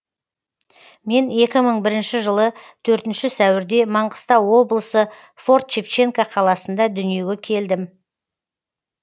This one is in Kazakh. мен екі мың бірінші жылы төртінші сәуірде маңғыстау облысы форт шевченко қаласында дүниеге келдім